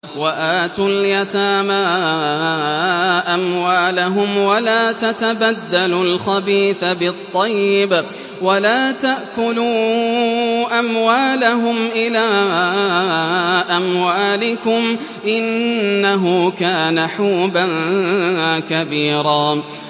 وَآتُوا الْيَتَامَىٰ أَمْوَالَهُمْ ۖ وَلَا تَتَبَدَّلُوا الْخَبِيثَ بِالطَّيِّبِ ۖ وَلَا تَأْكُلُوا أَمْوَالَهُمْ إِلَىٰ أَمْوَالِكُمْ ۚ إِنَّهُ كَانَ حُوبًا كَبِيرًا